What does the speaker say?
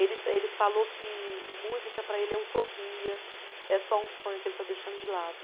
Ele, ele falou que música para ele é utopia, é só um sonho que ele está deixando de lado.